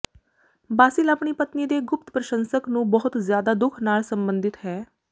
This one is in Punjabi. ਬਾਸਿਲ ਆਪਣੀ ਪਤਨੀ ਦੇ ਗੁਪਤ ਪ੍ਰਸ਼ੰਸਕ ਨੂੰ ਬਹੁਤ ਜ਼ਿਆਦਾ ਦੁੱਖ ਨਾਲ ਸੰਬੰਧਿਤ ਹੈ